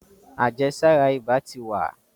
àjẹsára ibà tí wa.